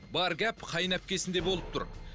бар гәп қайынәпкесінде болып тұр